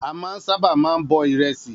A máa ń sáábà máa ń bọ ìrẹsì